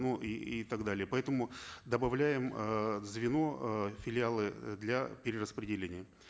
ну и и так далее поэтому добавляем э звено э филиалы э для перераспределения